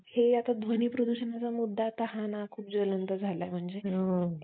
hmm